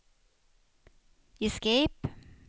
escape